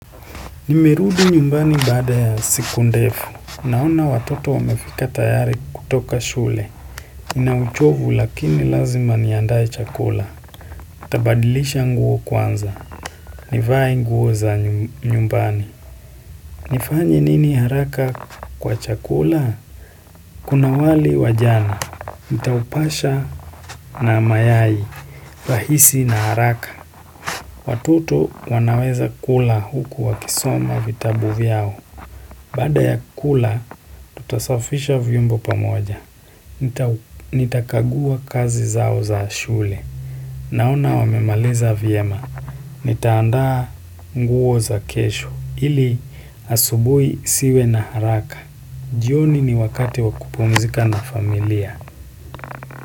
Nimerudi nyumbani baada ya siku ndefu, naona watoto wamefika tayari kutoka shule, ninauchovu lakini lazima niandae chakula, nitabadilisha nguo kwanza, nivae nguo za nyumbani. Nifanye nini haraka kwa chakula? Kuna wali wa jana. Nitaupasha na mayai, rahisi na haraka. Watoto wanaweza kula huku wakisoma vitabu vyao. Baada ya kula, tutasafisha vyombo pamoja. Nitakagua kazi zao za shule. Naona wamemaliza vyema. Nitaandaa nguo za kesho hili asubuhi nisiwe na haraka. Jioni ni wakati wa kupumzika na familia.